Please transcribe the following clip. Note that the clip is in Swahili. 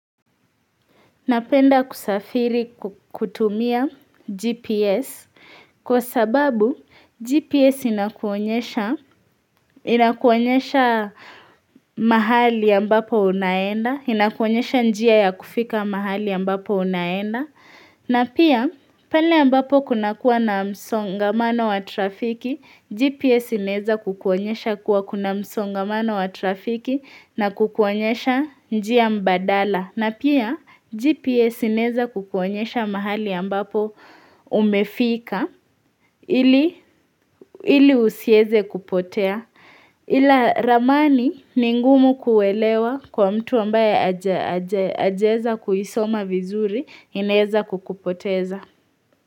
Napenda kusafiri kutumia GPS, kwa sababu GPS inakuonyesha mahali ambapo unaenda, inakuonyesha njia ya kufika mahali ambapo unaenda, na pia pale ambapo kuna kuwa na msongamano wa trafiki, GPS inaeza kukuonyesha kuwa kuna msongamano wa trafiki na kukuonyesha njia mbadala. Na pia GPS inaeza kukuonyesha mahali ambapo umefika ili usieze kupotea ila ramani ni ngumu kuelewa kwa mtu ambaye ajaeza kuisoma vizuri inaeza kukupoteza.